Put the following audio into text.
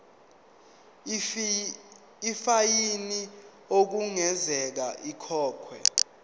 ifayini okungenzeka ikhokhwe